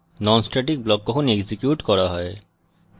non static block কখন execute করা হয়